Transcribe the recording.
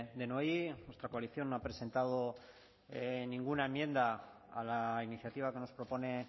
denoi nuestra coalición no ha presentado ninguna enmienda a la iniciativa que nos propone